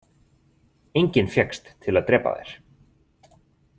Enginn fékkst til að drepa þær.